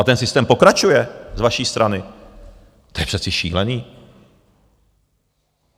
A ten systém pokračuje z vaší strany, to je přece šílený.